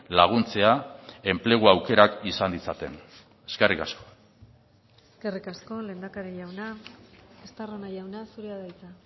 laguntzea enplegu aukerak izan ditzaten eskerrik asko eskerrik asko lehendakari jauna estarrona jauna zurea da hitza